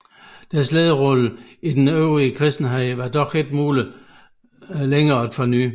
Deres lederrolle i den øvrige kristenhed var det dog ikke muligt længere at forny